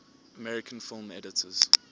american film editors